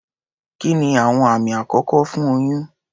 Kí ni àwọn àmì àkọ́kọ́ fún oyún?